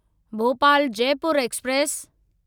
Bhopal Jaipur express